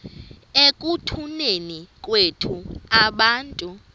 ekutuneni kwethu abantu